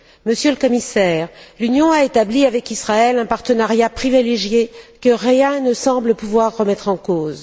Monsieur le Commissaire, l'Union a établi avec Israël un partenariat privilégié que rien ne semble pouvoir remettre en cause.